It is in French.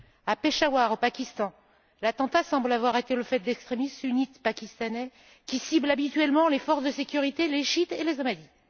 À Peshawar, au Pakistan, l'attentat semble avoir été le fait d'extrémistes sunnites pakistanais qui ciblent habituellement les forces de sécurité, les chiites et les ahmadites.